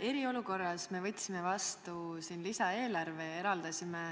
Eriolukorras me võtsime vastu lisaeelarve, eraldasime